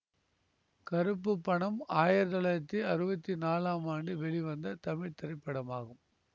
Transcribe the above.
கறுப்பு பணம் ஆயிரத்தி தொள்ளாயிரத்தி அறுவத்தி நாலாம் ஆண்டு வெளிவந்த தமிழ் திரைப்படமாகும்